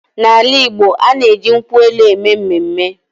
N’ala Igbo, a na-eji nkwụ elụ eme mmemme.